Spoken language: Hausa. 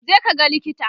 je ka ga likita!